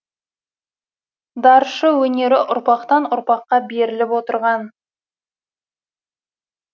даршы өнері ұрпақтан ұрпаққа беріліп отырған